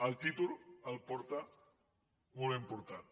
el títol el porta molt ben portat